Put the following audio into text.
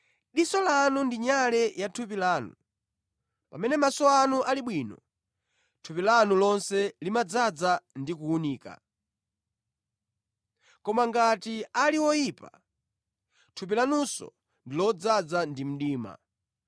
Diso lanu ndi nyale ya thupi lanu. Pamene maso anu ali bwino, thupi lanu lonse limadzaza ndi kuwunika. Koma ngati ali oyipa, thupi lanunso ndi lodzaza ndi mdima.